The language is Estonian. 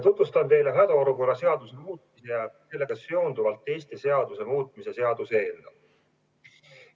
Tutvustan teile hädaolukorra seaduse muutmise ja sellega seonduvalt teiste seaduste muutmise seaduse eelnõu.